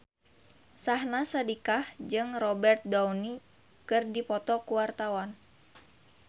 Syahnaz Sadiqah jeung Robert Downey keur dipoto ku wartawan